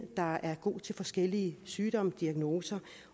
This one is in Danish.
der er god til forskellige sygdomme og diagnoser